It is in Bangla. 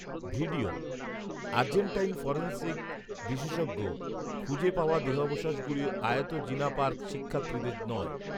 ভিডিওঃ আর্জেন্টাইন ফরেনসিক বিশেষজ্ঞঃ খুঁজে পাওয়া দেহাবশেষগুলো আয়তজিনাপার শিক্ষার্থীদের নয়